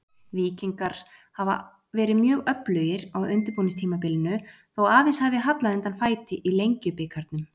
Víkingar hafa verið mjög öflugir á undirbúningstímabilinu þó aðeins hafi hallað undan fæti í Lengjubikarnum.